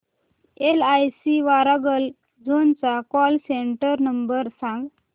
LIC Warangal zone चा call centre number सांग